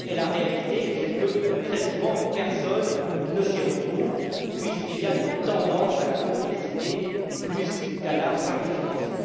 En réalité, très souvent, personne ne s'y retrouve puisqu'il y a une tendance à la complexité plus qu'à la simplification.